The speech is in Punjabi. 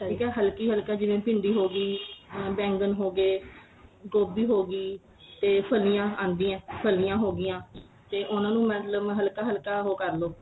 ਠੀਕ ਏ ਹਲਕੀ ਹਲਕੀ ਜਿਵੇਂ ਭਿੰਡੀ ਹੋ ਗਈ ਆ ਬੇੰਗਨ ਹੋ ਗਏ ਗੋਭੀ ਹੋ ਗਈ ਤੇ ਫਲੀਆਂ ਆਂਦੀਆਂ ਫਲੀਆਂ ਹੋ ਗੀਆਂ ਤੇ ਉਹਨਾ ਮਤਲਬ ਹਲਕਾ ਹਲਕਾ ਉਹ ਕਰ ਲੋ